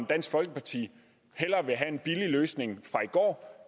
dansk folkeparti hellere have en billig løsning fra i går